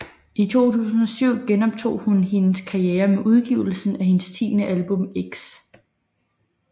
I 2007 genoptog hun hendes karriere med udgivelsen af hendes tiende album X